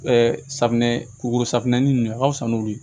safunɛ kuru safunɛ nin a ka fisa n'olu ye